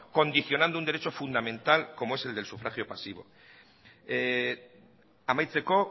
condicionando un derecho fundamental como es el del sufragio pasivo amaitzeko